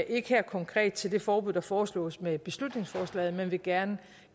ikke her konkret til det forbud der foreslås med beslutningsforslaget men vil gerne